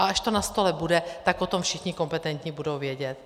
A až to na stole bude, tak o tom všichni kompetentní budou vědět.